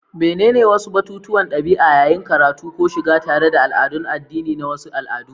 Menene wasu batutuwan ɗabi'a yayin karatu ko shiga tare da al'adun addini na wasu al'adu?